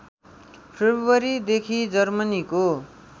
February देखि जर्मनीको